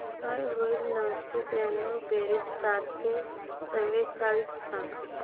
काय होईल नऊशे त्र्याण्णव बेरीज चारशे चव्वेचाळीस सांग